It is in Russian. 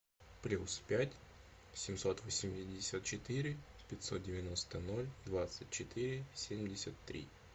плюс пять семьсот восемьдесят четыре пятьсот девяносто ноль двадцать четыре семьдесят три